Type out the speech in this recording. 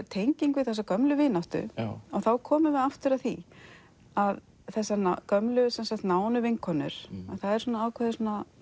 tenging við þessa gömlu vináttu og þá komum við aftur að því að þessar gömlu nánu vinkonur að það er ákveðið